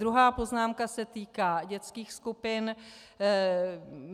Druhá poznámka se týká dětských skupin.